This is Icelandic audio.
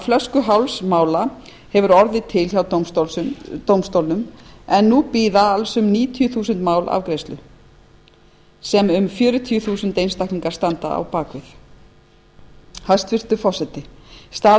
flöskuháls mála hefur orðið til hjá dómstólnum en alls bíða um níutíu þúsund mál afgreiðslu hans sem um fjörutíu þúsund einstaklingar standa á bak við hæstvirtur forseti staða